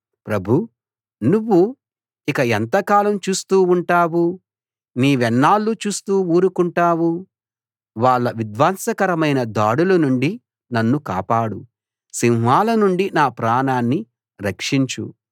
ప్రభూ నువ్వు ఇక ఎంతకాలం చూస్తూ ఉంటావు నీవెన్నాళ్లు చూస్తూ ఊరకుంటావు వాళ్ళ విధ్వంసకరమైన దాడుల నుండి నన్ను కాపాడు సింహాల నుండి నా ప్రాణాన్ని రక్షించు